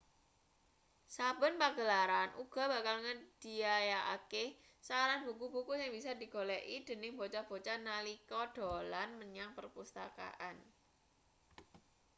saben pagelaran uga bakal nyedhiyakake saran buku-buku sing bisa digoleki dening bocah-bocah nalika dolan menyang perpustakaan